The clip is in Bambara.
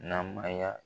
Namaya